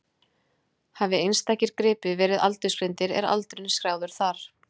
Hafi einstakir gripir verið aldursgreindir er aldurinn skráður þar.